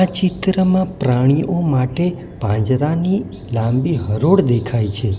ચિત્રમાં પ્રાણીઓ માટે પાંજરાની લાંબી હરોળ દેખાય છે.